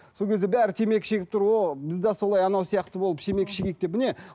сол кезде бәрі темекі шегіп тұр ооо бізде солай анау сияқты болып темекі шегейік деп міне